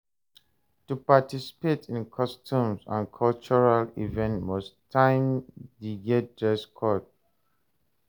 To participate in customs and cultural event most times de get dress code